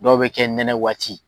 Dɔw be kɛ nɛnɛ waati.